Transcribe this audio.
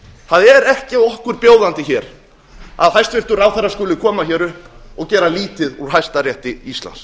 það er ekki okkur bjóðandi hér að hæstvirtur ráðherra skuli koma hér upp og gera lítið úr hæstarétti íslands